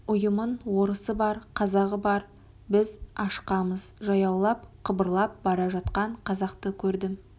ұйымын орысы бар қазағы бар біз ашқамыз жаяулап қыбырлап бара жатқан қазақты көрдім